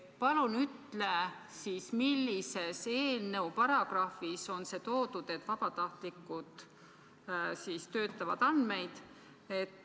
Palun ütle, millises eelnõu paragrahvis on see kirjas, et vabatahtlikud töötlevad andmeid.